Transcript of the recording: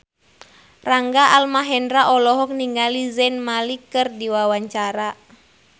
Rangga Almahendra olohok ningali Zayn Malik keur diwawancara